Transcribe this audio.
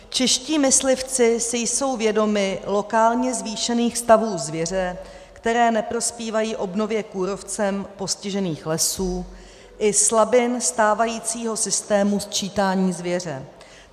"Čeští myslivci si jsou vědomi lokálně zvýšených stavů zvěře, které neprospívají obnově kůrovcem postižených lesů, i slabin stávajícího systému sčítání zvěře.